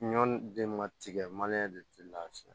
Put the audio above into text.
Ɲɔ den ma tigɛ de ti lafiya